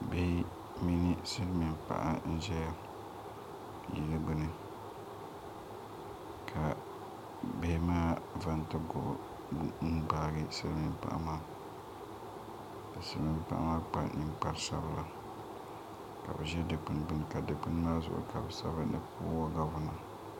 Bihi mini silmiin paɣa n ʒɛya yili gbuni ka bihi maa chɛŋ ti goho n gbaagi silmiin paɣa maa ka silmiin paɣa maa kpa ninkpari sabila ka bi ʒɛ dikpuni gbuni ka dikpuni maa zuɣu ka bi sabi ni puuo gavina